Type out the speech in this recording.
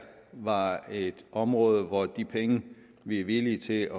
var et område hvor de penge vi er villige til